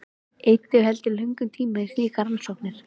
Eyddu heldur ekki löngum tíma í slíkar rannsóknir.